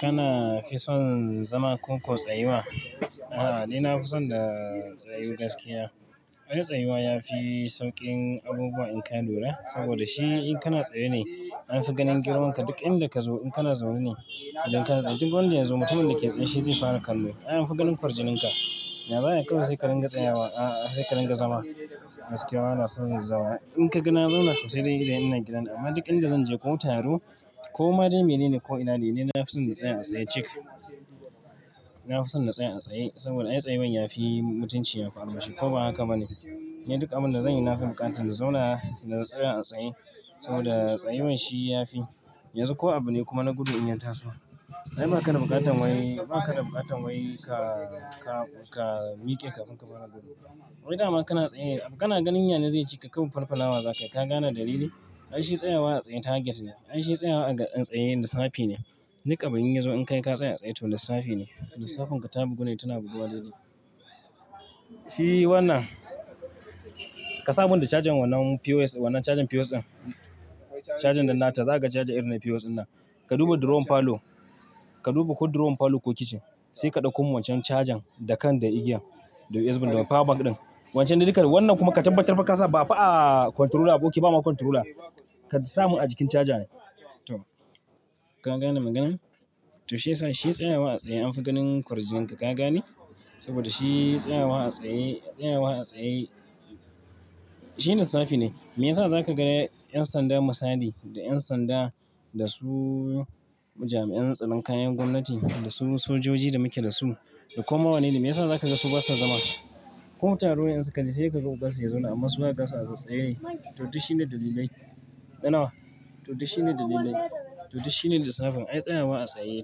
Kana fi son zama ko ko tsayuwa? A'a, ni na fi son da tsayu gaskiya. Ai, tsayuwa ya fi sauƙin abubuwa in ka lura saboda shi in kana tsaye ne an fi ganin girman ka duk inda ka zo. In kana zaune ne, duk wanda ya zo mutumin da yake tsaye shi zai fara kallo. An fi ganin kwarjinin ka. Ya za'ayi kawai sai karinga tsayawa, a'a sai karinga zama. Gaskiya ana son zama. In ka ga na zauna sosai da idan ina gidan amma duk inda zan je ko taro ko ma dai mene ne ko ina dai ni, na fi son na tsaya a tsaye cik. Na fi son na tsaya a tsaye saboda ai tsayawan ya fi mutunci, ya fi armashi ko ba haka ba ne. Ni duk abin da zanyi na fi buƙatanin zauna, da na tsaya a tsaye saboda tsayawan shi ya fi. Yanzu ko abu ne kuma na gudu in ya ta so. Na ba ka da buƙatan wai ba ka da buƙatan wai ka, ka, ka miƙe kafin ka fara gudu. Wai dama kana tsaye, kana ganin yana zai cika kaɓu farfala wa zakai. Ka gane dalili? Ai shi tsayawa a tsaye target ne. Ai shi tsayawa a ga tsaye lissafi ne. Duk abin yazo in kai ka tsaya a tsaye to lissafi ne. Lissafin ka ta bugu ne, tana buguwa daidai. Shi wannan, ka sabunta cajan wannan POS, wannan cajan POS ɗin, cajan ɗin nata. Za ka caje irin na POS ɗin nan. Ka duba drawer falo, ka duba ko drawer falo ko kitchen, sai ka ɗauko wancan cajan da kan da igiya, da USB da power bank ɗin. Wancan da duka wannan kuma ka tabbatar ba ka sa ba fa a controller, aboki ba ma controller. Ka sa mu a jikin cajan. To ka gane maganar? To shiyasa shi tsayawa a tsaye an fi ganin kwarjinin ka. Ka gane? Saboda shi tsayawa a tsaye, tsayawa a tsaye shi lissafi ne. Meyasa za ka ga ƴan sanda musali da ƴan sanda da su jami'an tsaron kayan gwamnati da su sojoji da muke da su da koma wane ne. Meyasa za ka ga su basa zama? Ko taro in suka je sai ka ga ogan su ya zauna amma su haka basa tsaye. To shi ne dalilai. Dana. To shi ne dalilai. To shi ne lissafin. Ai tsayawa a tsaye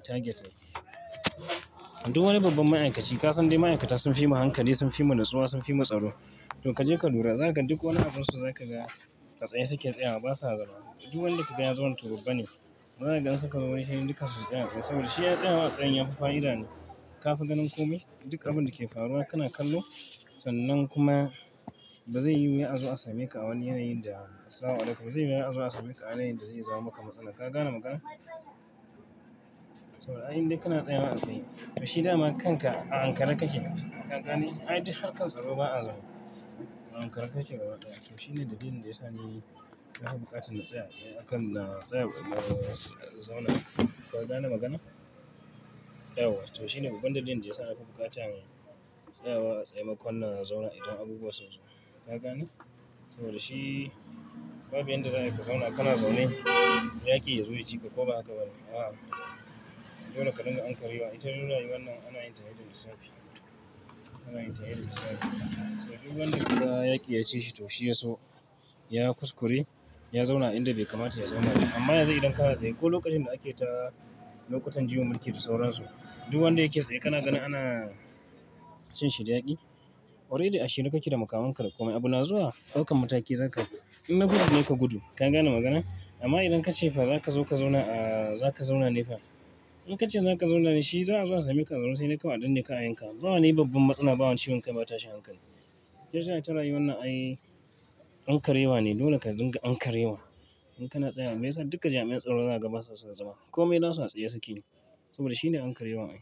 target ne. Duk wani babban ma'aikaci ka san dai ma'aikata sun fi mu hankali, sun fi mu natsuwa, sun fi mu tsaro. To ka je ka lura, za ka ga duk wani abunsu za ka ga ka tsaye suke tsayawa basa zama. Duk wanda kaga ya zauna to babba ne. Ba ka ganin in suka zo wari sai duka su tsaya. Saboda shi ai tsayawa a tsaye ya fi fa'ida ne. Ka fi ganin kome. Duk abun da ke faruwa kana kallo sannan kuma ba zai yi ya zo a same ka a wani yanayi da assalamu alaikum, ba zai iya ya zo a same ka a yanayin da zai zama maka matsala. Ka gane maganar? Saboda ai in dai kana tsayawa a tsaye. To shi dama kanka a ankarar kake. Ka gane? Ai duk harkar tsaro ba a zama. A ankarar kake. To shi ne dalilin da ya sa ni na fi buƙatan na tsaya a tsaye akan na tsaya, zauna. Ka gane maganar? Yauwa. To shi ne babban dalilin da ya sa na fi buƙatanin tsayawa a tsaye makon na zauna idan abubuwa sun zo. Ka gane? To da shi, babu inda za ka zauna kana zaune, yaƙi ya zo yaji ka ko ba haka ba ne. A'a. Dole ka dinga ankarewa. Ita rayu wannan ana yin ta ne da lissafi. Ana yin ta ne da lissafi. To duk wanda kuka yaƙi ya cishi to shiyaso ya kuskure, ya zauna a inda bai kamata ya zauna ba. Amma yanzu idan kana tsaye ko lokacin da ake ta lokutan jiyo mulki da sauran su, duk wanda yake tsaye kana ganin ana cin shi da yaƙi. Already a shirye kake da makamanka da kome. Abu na zuwa, ɗaukan mataki zaka. In na gudu ne ka gudu. Ka gane magana? Amma idan ka ce fa za ka zo ka zauna, ahh za ka zauna ne fa. In ka ce za ka zauna ne shi za a zo a same ka a zaune sai naka waɗanne ka ayanka. Ba wani babban matsala ba wance wanka bata sha hankali. Shi yasa ita rayu wannan ai ankarewa ne. Dole ka dinga ankarewa in kana tsaye. Meyasa duka jami'an tsaro zaga basasu son zama? Kome nasu a tsaye suke. Saboda shi ne ankarewa ai.